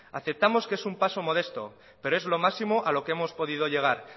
aceptamos que es un paso modesto pero es lo máximo a lo que hemos podido llegar